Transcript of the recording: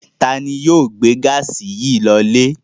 Ta ni yóò gbé gáásì yìí lọlé?